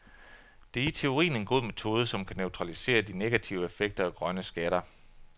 Det er i teorien en god metode, som kan neutralisere de negative effekter af grønne skatter.